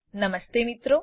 નમસ્તે મિત્રો